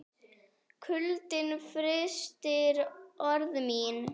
Kuldinn frystir orð mín.